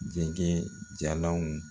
Dɛgɛ jalanw